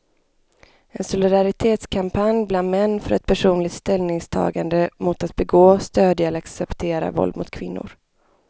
En solidaritetskampanj bland män för ett personligt ställningstagande mot att begå, stödja eller acceptera våld mot kvinnor.